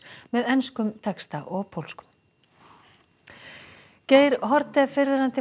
með enskum texta og pólskum Geir Haarde fyrrverandi